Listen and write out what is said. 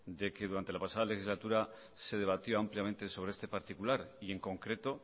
de que durante la pasada legislatura se debatió ampliamente sobre este particular y en concreto